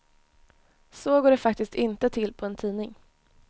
Så går det faktiskt inte till på en tidning.